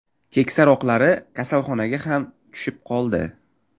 Keksaroqlari kasalxonaga ham tushib qoldi.